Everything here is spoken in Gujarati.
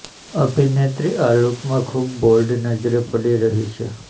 અભિનેત્રી આ લુકમાં ખૂબ બોલ્ડ નજરે પડી રહી છે